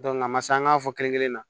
a ma se an k'an fɔ kelen kelen na